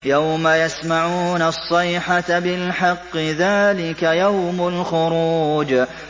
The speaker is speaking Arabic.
يَوْمَ يَسْمَعُونَ الصَّيْحَةَ بِالْحَقِّ ۚ ذَٰلِكَ يَوْمُ الْخُرُوجِ